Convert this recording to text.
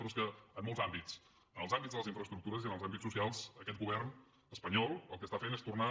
però és que en molts àmbits en els àmbits de les infraestructures i en els àmbits socials aquest govern espanyol el que està fent és tornar